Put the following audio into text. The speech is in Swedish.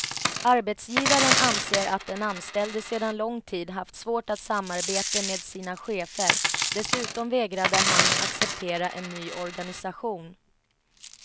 Arbetsgivaren anser att den anställde sedan lång tid haft svårt att samarbete med sina chefer, dessutom vägrade han acceptera en ny organisation.